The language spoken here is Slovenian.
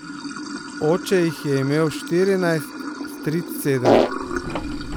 Oče jih je imel štirinajst, stric sedem.